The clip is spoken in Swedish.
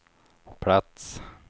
plats